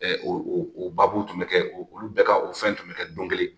O baabu tun bɛ kɛ olu bɛɛ ka o fɛn tun bɛ kɛ don kelen